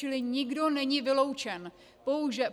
Čili nikdo není vyloučen.